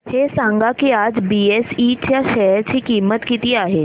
हे सांगा की आज बीएसई च्या शेअर ची किंमत किती आहे